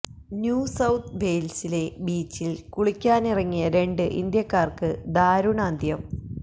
new South വെയിൽസിലെ ബീച്ചിൽ കുളിക്കാനിറങ്ങിയ രണ്ട് ഇന്ത്യക്കാർക്ക് ദാരുണാന്ത്യം